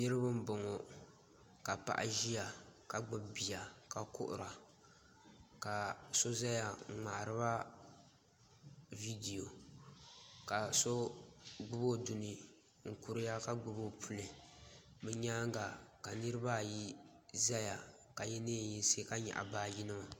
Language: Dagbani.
Niraba n boŋo ka paɣa ʒiya ka gbubi bia ka kuhura ka so ʒɛya n ŋmaariba viidiya ka so gbubi o duni n kuriya ka gbubi o puli bi nyaanga ka niraba ayi ʒɛya ka yɛ neen yinsi ka nyaɣa baaji nima